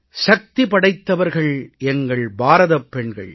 சக்தி படைத்தவர்கள் எங்கள் பாரதப் பெண்கள்